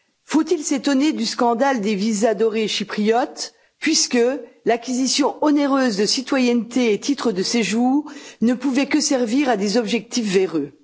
Faut il s'étonner du scandale des visas dorés chypriotes, puisque l'acquisition onéreuse de la citoyenneté et de titres de séjour ne pouvait que servir à des objectifs véreux?